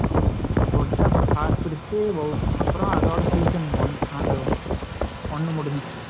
போட்டு அப்பறம் காசு பிரிச்சு அப்பறம் அதோட session one முடிஞ்சுச்சு